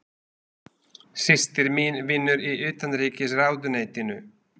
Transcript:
Systir mín vinnur í Utanríkisráðuneytinu.